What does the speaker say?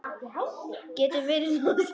Getur verið að svo sé?